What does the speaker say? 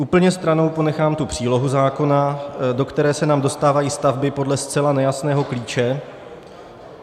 Úplně stranou ponechám tu přílohu zákona, do které se nám dostávají stavby podle zcela nejasného klíče.